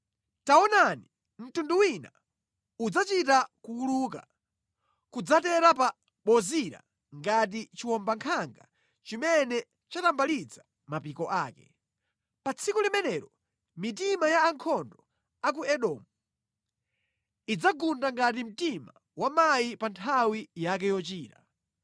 Taonani, mtundu wina udzachita kuwuluka nʼkudzatera pa Bozira ngati chiwombankhanga chimene chatambalitsa mapiko ake. Pa tsiku limenelo mitima ya ankhondo a ku Edomu idzagunda ngati mtima wa mayi pa nthawi yake yochira.